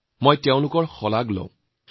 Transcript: তেওঁলোকৰ গৌৰৱৰ কাহিনী লিখিছোঁ